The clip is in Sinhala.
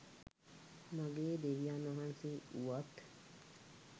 මගේ දෙවියන් වහන්සේ වුවත්,